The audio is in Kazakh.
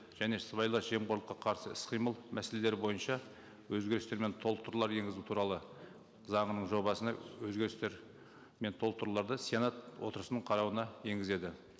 және сыбайлас жемқорлыққа қарсы іс қимыл мәселелері бойынша өзгерістер мен толықтырулар енгізу туралы заңының жобасына өзгерістер мен толықтыруларды сенат отырысының қарауына енгізеді